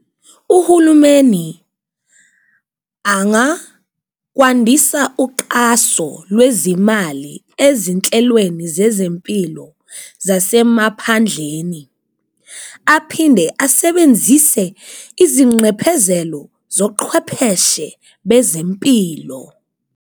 Uhulumeni angakwandisa uqaso lwezimali ezinhlelweni zezempilo zasemaphandleni, aphinde asebenzise izinqephezelo zoqhwepheshe bezempilo.